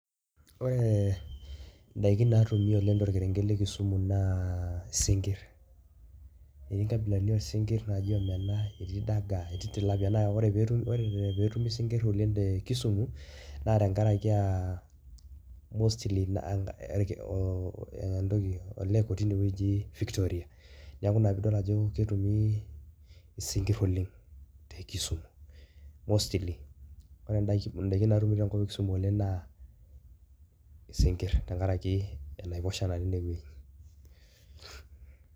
Ore indaiki naatumi oleng torkerenket la Kisumu naa isinkir. Anaa etii nkabilaritin oosinkir anaaji omena, Tilapia, dagaa, naa ore peetumi Isinkir oleng te Kisumu naa tenkaraki aah mostly aaah olake otii inewueji Victoria .niaku ina peedol ajo ketumi isinkir oleng te Kisumu. Mostly ore indaiki naatumi oleng tenkop Kisumu naa isinkir tenkaraki enaiposha natii inewueji